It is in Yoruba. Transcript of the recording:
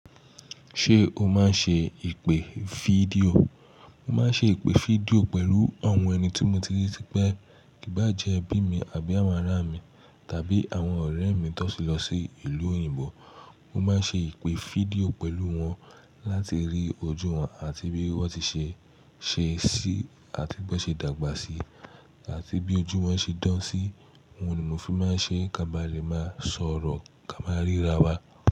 Ṣé o máa ń ṣe ìpè fídíò? Mo máa ń ṣe ìpè fídíò pẹ̀lú àwọn ẹni tí mo ti rí tipẹ́, kí bá jẹ́ ẹbí mi àbí àwọn ará mi, tàbí àwọn ọ̀rẹ́ mi tó ti lọ sí ìlú òyìnbó. Mo máa ń ṣe ìpè fídíò pẹ̀lú wọn láti rí ojú wọn àti bí wọ́n ti ṣe, ṣe sí àti bí wọ́n ṣe dàgbà sí, àti bí ojú wọn ṣe dán sí. Òun ní mọ̀ fi máa ń ṣe, ká bá lè máa sọ̀rọ̀ ká máa ríra wa.